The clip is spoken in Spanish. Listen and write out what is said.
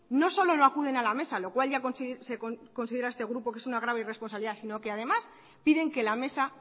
no solo no acuden a la mesa lo cual este grupo considera que es una grave irresponsabilidad sino que además piden que la mesa